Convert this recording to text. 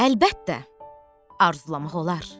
Əlbəttə, arzulamaq olar.